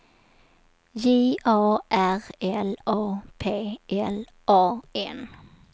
J A R L A P L A N